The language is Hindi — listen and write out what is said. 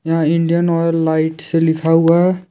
यहां इंडियन ऑयल लाइट से लिखा हुआ है।